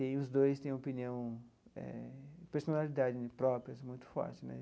E os dois têm opinião eh, personalidade né próprias muito forte né.